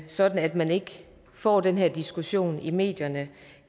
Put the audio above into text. sådan at man ikke får den her diskussion i medierne